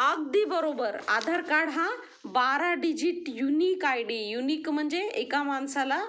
अगदी बरोबर आधार कार्ड हा १२ digit unique I D unique म्हणजे एका माणसाला